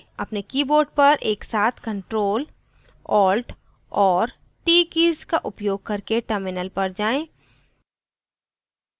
अपने keyboard पर एक साथ ctrl alt और t कीज का उपयोग करके terminal पर जाएँ